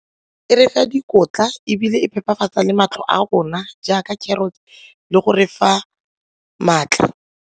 E refa dikotla ebile e phepafatsa le matlho a rona jaaka carrot le go refa maatla.